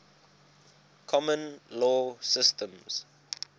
common law systems